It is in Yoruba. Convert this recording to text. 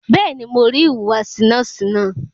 Bẹ́ẹ̀ni, mo rí ìhùwàsí nọ́ọ̀sì náà.